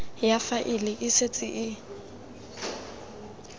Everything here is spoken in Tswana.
ya faele e setse e